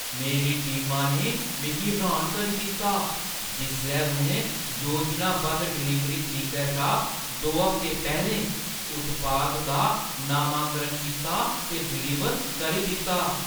मेरी टीमा ने मिगी र्‌हान करी दित्ता जिसलै उʼनें योजनाबद्ध डलीवरी तरीका शा दो हफ्ते पैह्‌लें उत्पाद दा नमांकरण कीता ते डलीवर करी दित्ता।